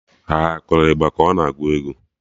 Ha akụrụ ịgba ka ọ na agụ egwu?